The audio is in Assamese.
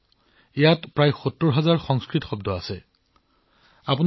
এই অভিধানত অন্তৰ্ভুক্ত ৭০০০০ তকৈও অধিক সংস্কৃত শব্দ ছাৰ্বিয়ানলৈ অনুবাদ কৰা হৈছে